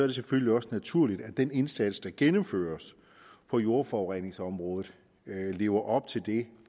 det selvfølgelig også naturligt at den indsats der gennemføres på jordforureningsområdet lever op til det